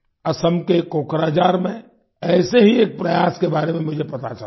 असम के कोकराझार में ऐसे ही एक प्रयास के बारे में मुझे पता चला है